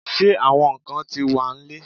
Ṣe awọn nkan ti wa n lẹ?